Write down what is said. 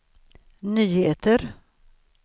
nyheter